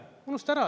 Unusta ära!